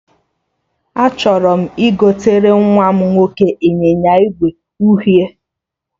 Achọrọ m igotere nwa nwoke ịnyịnya ígwè uhie